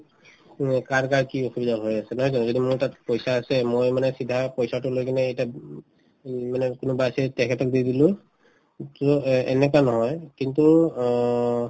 কাৰ কাৰ কি অসুবিধা হৈ আছে নহয় জানো যদি মোৰ তাত পইচা আছে মই মানে চিধাই পইচাতো লৈ কিনে ইতা উম উম মানে কোনোবা আছে তেখেতক দি দিলো অ এনেকুৱা নহয় কিন্তু অ